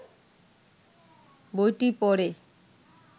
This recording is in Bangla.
বইটি পড়ে